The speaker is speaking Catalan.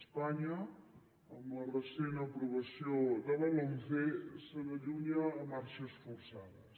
espanya amb la recent aprovació de la lomce se n’allunya a marxes forçades